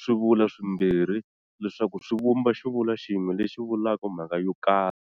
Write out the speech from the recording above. swivulwa swimbirhi leswaku swi vumba xivulwa xin'we lexi vulaka mhaka yo karhi.